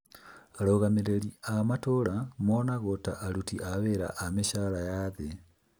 Arũgamĩrĩri a matũra monagwo ta aruti a wĩra a mĩcara ya thĩ